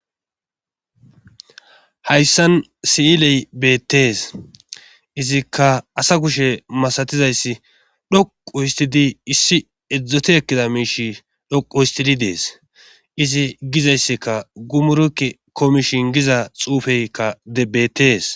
Hayssan siiley beettees. Izikka asa kushe masatiza issi xoqqu ottidi issi erizoti ekkida miish xoqqu ottidi dees .Izi giza issika gumurekki komishin giza xuufeyka bettees.